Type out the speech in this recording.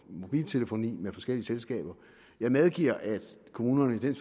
mobiltelefoni med forskellige selskaber jeg medgiver at kommunerne i den